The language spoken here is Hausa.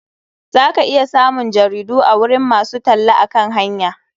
Za ka iya samun jaridu a gurin masu talle akan hanya.